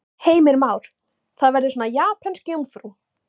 Heimir Már: Það verður svona japönsk jómfrú?